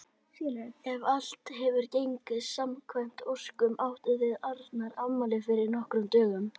Ef allt hefur gengið samkvæmt óskum áttuð þið Arnar afmæli fyrir nokkrum dögum.